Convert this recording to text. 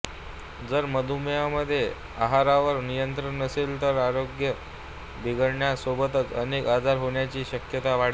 जर मधुमेहामध्ये आहारावर नियंत्रण नसेल तर आरोग्य बिघडण्या सोबतच अनेक आजार होण्याची शक्यता वाढते